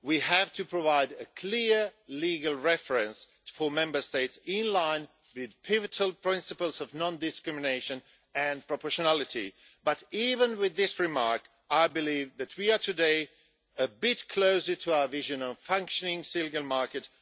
We have to provide a clear legal reference for Member States, in line with the pivotal principles of non discrimination and proportionality. But even with this remark, I believe that we are today a bit closer to our vision of a functioning single market.